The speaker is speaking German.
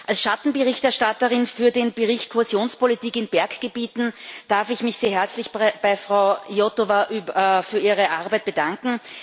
Als Schattenberichterstatterin für den Bericht Kohäsionspolitik in Berggebieten darf ich mich sehr herzlich bei Frau Iotova für ihre Arbeit bedanken.